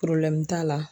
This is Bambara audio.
t'a la